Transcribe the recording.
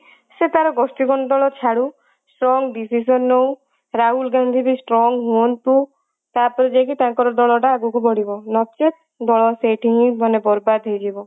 ସେ ତାର ଗୋଷ୍ଠୀ ମଣ୍ଡଳ ଛାଡୁ ସ୍ଵୟଂ decision ନୋଉ ରାହୁଲ ଗାନ୍ଧୀ ବି strong ହୁଅନ୍ତୁ ତାପରେ ଯାଇକି ତାଙ୍କର ଦଳ ଟା ଆଗକୁ ବଢିବ ନଚେତ ଦଳ ସେଇଠି ହିଁ ମାନେ ବରବାତ ହେଇଯିବ